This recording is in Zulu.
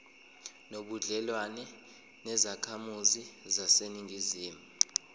nobudlelwane nezakhamizi zaseningizimu